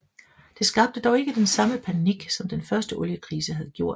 Det skabte dog ikke den samme panik som den første oliekrise havde gjort